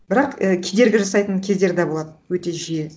бірақ і кедергі жасайтын кездер да болады өте жиі